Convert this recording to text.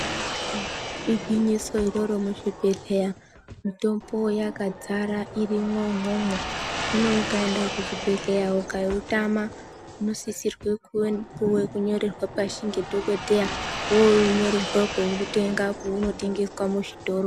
Eya igwwinyiso iroro muzvibhedhleya mitombo yakadzara irimwo imwomwo. Zvinoukaenda kuchibhedhleya ukautama unosisirwe kunyorerwa pashi nedhogodheya yonyorerwa koutenga kwaunotengeswe muzvitoro.